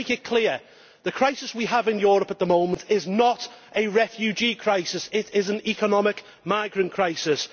Let me make it clear that the crisis we have in Europe at the moment is not a refugee crisis, it is an economic migrant crisis.